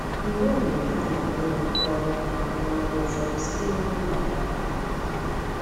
Mgbe mgbe ha na anyị na-akọrọ ahụmahụ ụfọdụ sitere na mba ha.